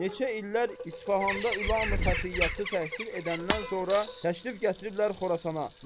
neçə illər İsfahanda üləma-i xəfiyyədə təhsil edəndən sonra təşrif gətiriblər Xorasana.